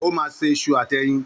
Ó ma isu àti eyin.